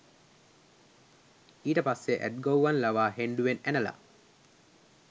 ඊට පස්සෙ ඇත් ගොව්වන් ලවා හෙණ්ඩුවෙන් ඇනලා